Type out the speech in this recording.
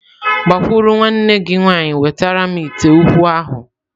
Gbakwuru nwanne gi nwaanyị wetara m ite ukwu ahu!.